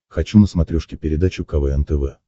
хочу на смотрешке передачу квн тв